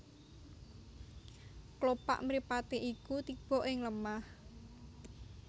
Klopak mripaté iku tiba ing lemah